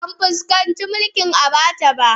Ban fuskanci mulkin Abacha ba